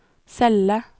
celle